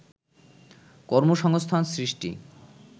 কর্মসংস্থান সৃষ্টি